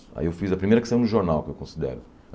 Aí eu fiz a primeira que saiu no jornal, que eu considero.